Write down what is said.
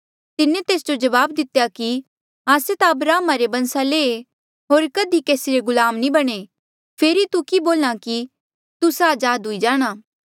तिन्हें तेस जो जवाब दितेया कि आस्से ता अब्राहमा रे बंसा ले ऐें होर कधी केसी रे गुलाम नी बणे फेरी तू कि बोल्हा कि तुस्सा अजाद हुई जाणा